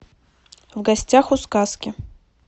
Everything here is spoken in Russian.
в гостях у сказки